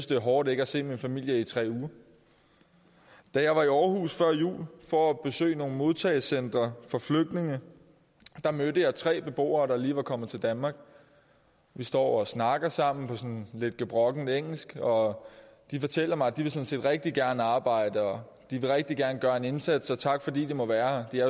det er hårdt ikke at se min familie i tre uger da jeg var i aarhus før jul for at besøge nogle modtagecentre for flygtninge mødte jeg tre beboere der lige var kommet til danmark vi står og snakker sammen på sådan lidt gebrokkent engelsk og de fortæller mig at de sådan set rigtig gerne vil arbejde og de rigtig gerne vil gøre en indsats og tak fordi de må være her de er